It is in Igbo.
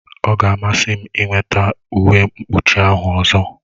Ọ ga-amasị m ịnweta uwe mkpuchi ahụ ọzọ